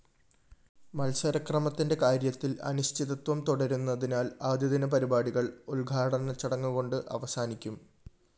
മത്സരക്രമത്തിന്റെ കാര്യത്തില്‍ അനിശ്ചിതത്വം തുടരുന്നതിനാല്‍ ആദ്യദിനപരിപാടികള്‍ ഉദ്ഘാടനച്ചടങ്ങുകൊണ്ട് അവസാനിക്കും